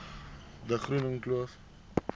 de groene kloof